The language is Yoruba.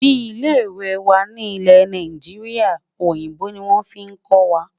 Ní ilè ìwé wà nì ilé Naijiria, òyìnbó ní wọn fí kò wà.